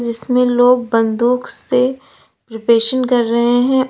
इसमें लोग बंदूक से प्रिपरेशन कर रहे हैं औ--